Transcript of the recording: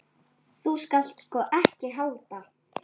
Þú skalt sko ekki halda.